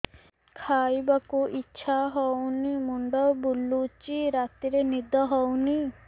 ଖାଇବାକୁ ଇଛା ହଉନି ମୁଣ୍ଡ ବୁଲୁଚି ରାତିରେ ନିଦ ହଉନି